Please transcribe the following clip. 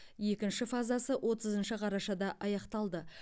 екінші фазасы отызыншы қарашада аяқталды